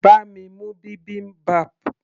bá mi mú bibimbap